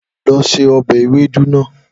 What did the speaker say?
Lọ se ọbẹ Ewedu bayi!